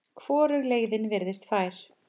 Hvorug leiðin virtist fær.